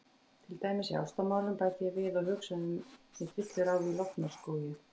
Til dæmis í ástarmálum, bætti ég við og hugsaði um mitt villuráf í Lofnar skógi.